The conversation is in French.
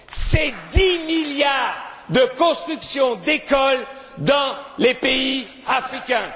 C'est 10 milliards de construction d'écoles dans les pays africains.